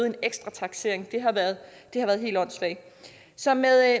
en ekstra taksering det har været helt åndssvagt så med